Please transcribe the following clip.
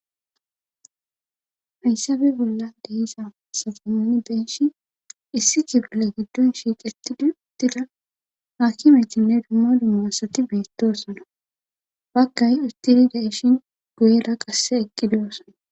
hayssappe bollan de,iza asata nuni be,ishin issi bola giddon shiiqettidi uttila haakimetinne dumma dumma asati beettosona baggay uttiri da7eshin guyera qasse eqqi duyosona